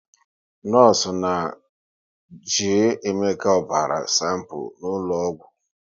Nọọsụ na jee Emeka ọbara sanpu n'ụlọ ọgwụ